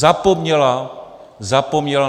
Zapomněla - zapomněla!